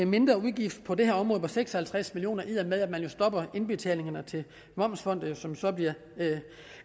mindre udgift på det her område på seks og halvtreds million kr i og med at man jo stopper indbetalingerne til momsfondet som så bliver